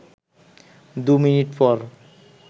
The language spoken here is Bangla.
দু মিনিট পর